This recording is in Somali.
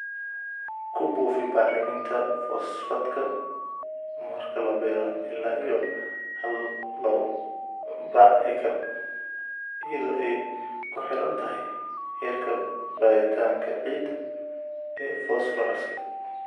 kubufi bacriminta fosfatka marka labeero ila iyo hal labo bac/acre iyadho eey kuhirantahay herka baritanka ciida ee fosfooraska